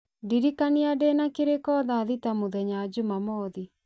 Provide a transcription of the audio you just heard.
ndirikania ndĩna kĩrĩko thaa thita mũthenya njumamothi